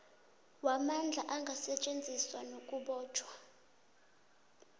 wamandla angasetjenziswa nakubotjhwa